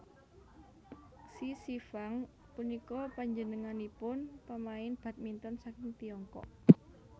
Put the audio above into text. Xie Xingfang punika panjenenganipun pamain badminton saking Tiongkok